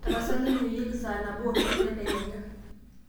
tapasali inyioyieki saa nabo onusu tedekenya